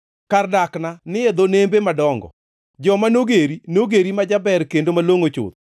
Kar dakni ne ni e dho nembe madongo; joma nogeri nogeri ma jaber kendo malongʼo chuth.